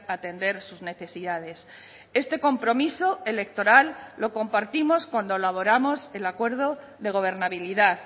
atender sus necesidades este compromiso electoral lo compartimos cuando elaboramos el acuerdo de gobernabilidad